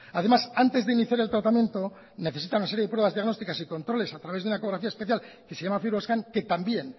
además antes de iniciar el tratamiento necesitan una serie de pruebas diagnosticas y controles a través de una ecografía especial que se llama fibroscan que también